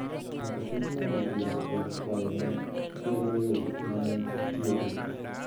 nyaka chop ng’ado bura kuom kwayo ma kwedo yo ma ne itiyogo.